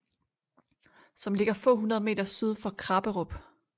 Som ligger få hundrede meter syd for krapperup